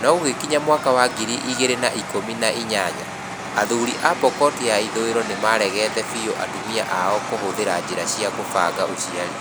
No gũgĩkinya mwaka wa ngiri igĩrĩ na ĩkũmi na inyanya, athuuri a Pokot ya ithũĩro nĩ maaregete biũ atumia ao kũhũthira njĩra cia kũbanga ũciari.